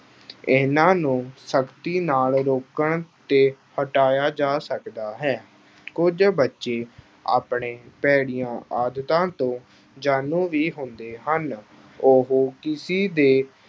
ਇਹਨਾਂ ਨੂੰ ਸਖ਼ਤੀ ਨਾਲ ਰੋਕਣ 'ਤੇ ਹਟਾਇਆ ਜਾ ਸਕਦਾ ਹੈ। ਕੁਝ ਬੱਚੇ ਆਪਣੀਆਂ ਭੈੜੀਆਂ ਆਦਤਾਂ ਤੋਂ ਜਾਣੂ ਵੀ ਹੁੰਦੇ ਹਨ। ਉਹ ਕਿਸੀ ਦੇ